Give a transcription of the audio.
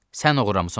Sən oğurlamısan onu.